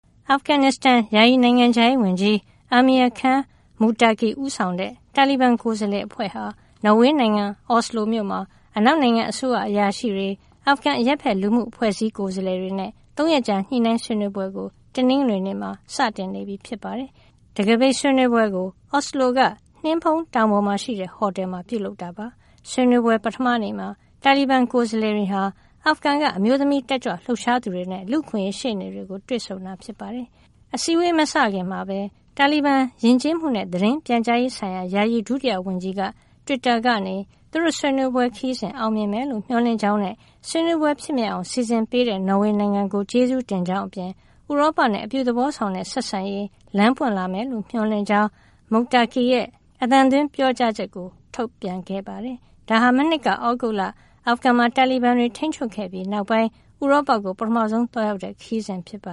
အာဖဂန်နစ္စတန် ယာယီနိုင်ငံခြားရေးဝန်ကြီး Amir Khan Muttaqi ဦးဆောင်တဲ့ တာလီဘန် ကိုယ်စားလှယ်အဖွဲ့ဟာ နော်ဝေနိုင်ငံ အော်စလိုမြို့မှာ အနောက်နိုင်ငံ အစိုးရအရာရှိတွေ၊ အာဖဂန် အရပ်ဘက်လူမှုအဖွဲ့အစည်း ကိုယ်စားလှယ်တွေနဲ့ ၃ ရက်ကြာ ညှိနှိုင်းဆွေးနွေးပွဲကို တနင်္ဂွေနေ့မှာ စတင်နေပြီ ဖြစ်ပါတယ်။ တံခါးပိတ်ဆွေးနွေးပွဲကို အော်စလိုက နှင်းဖုံးတောင်ပေါ်မှာရှိတဲ့ ဟိုတယ်မှာ ပြုလုပ်တာပါ။ ဆွေးနွေးပွဲ ပထမနေ့မှာ တာလီဘန် ကိုယ်စားလှယ်တွေဟာ အာဖဂန်နိုင်ငံက အမျိုးသမီး တက်ကြွလှုပ်ရှားသူတွေနဲ့ လူ့အခွင့်အရေး ရှေ့နေတွေကို တွေ့ဆုံတာ ဖြစ်ပါတယ်။ အစည်းအဝေး မစခင်မှာပဲ တာလီဘန် ယဉ်ကျေးမှုနဲ့ သတင်းပြန်ကြားရေးဆိုင်ရာ ယာယီဒုတိယဝန်ကြီးက တွစ်တာကနေ သူတို့ဆွေးနွေးပွဲ ခရီးစဉ် အောင်မြင်မယ်လို့ မျှော်လင့်ကြောင်းနဲ့ ဆွေးနွေးပွဲဖြစ်မြောက်အောင် စီစဉ်ပေးတဲ့ နော်ဝေနိုင်ငံကို ကျေးဇူးတင်ကြောင်းအပြင် ဥရောပနဲ့ အပြုသဘောဆောင်တဲ့ ဆက်ဆံရေး လမ်းပွင့်လာမယ်လို့ မျှော်လင့်ကြောင်း Muttaqi ရဲ့ အသံသွင်းပြောကြားချက်ကို ထုတ်ပြန်ခဲ့ပါတယ်။ ဒါဟာ မနှစ်က သြဂုတ်လ အာဖဂန်မှာ တာလီဘန်တွေ ထိန်းချုပ်ခဲ့ပြီးနောက်ပိုင်း ဥရောပကို ပထမဆုံး သွားရောက်တဲ့ ခရီးစဉ်ဖြစ်ပ